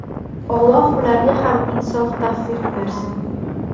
Alloh ularga ham insof‑tavfiq bersin!